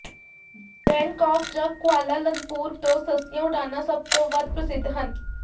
Bangkok ਜਾਂ Kuala Lumpur ਤੋਂ ਸਸਤੀਆਂ ਉਡਾਣਾਂ ਸਭ ਤੋਂ ਵੱਧ ਪ੍ਰਸਿੱਧ ਹਨ